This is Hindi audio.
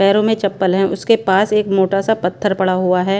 पैरों में चप्पल हैं उसके पास एक मोटा सा पत्थर पड़ा हुआ हैं।